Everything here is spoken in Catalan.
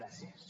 gràcies